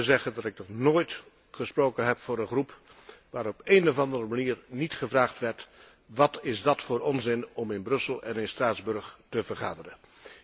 Ik zou u willen zeggen dat ik nog nooit gesproken heb voor een groep waarin niet op de een of andere manier gevraagd werd wat is dat voor onzin om in Brussel en in Straatsburg te vergaderen?